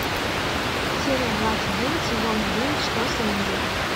серия двадцать девять сезона девять что с энди